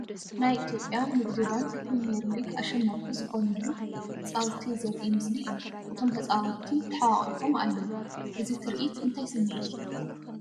ናይ ኢትዮጵያ ንግዲ ባንክ ፕሪምየር ሊግ ኣሸናፊ ዝኾነሉ ፃውቲ ዘርኢ ምስሊ እዩ፡፡ እቶም ተፃወትቲ ተሓቋቒፎም ኣለዉ፡፡ እዚ ትርኢት እንታይ ስምዒት ይፈጥር?